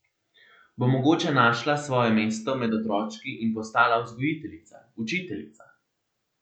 Bo mogoče našla svoje mesto med otročki in postala vzgojiteljica, učiteljica?